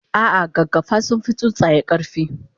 ah ah gaggafa sunfi tsuntsaye karfi